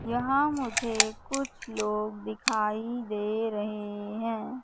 यहां मुझे कुछ लोग दिखाई दे रहे है।